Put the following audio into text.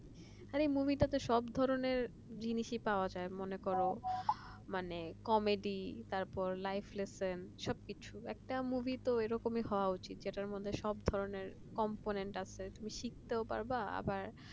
এই মুভিটাতে সব ধরনের জিনিসই পাওয়া যায় মনে কর মানে comedy life lesson সবকিছু একটা movie তো এরকমই হওয়া উচিত যেটার মধ্যে সব ধরনের complaint তুমি শিখতে পারবা আবার